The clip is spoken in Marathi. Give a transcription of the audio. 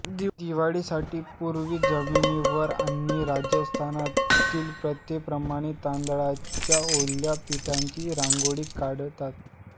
दिवाळीसाठी पूर्वी जमिनीवर आणि राजस्थानातील प्रथेप्रमाणे तांदळाच्या ओल्या पिठाची रांगोळी काढतात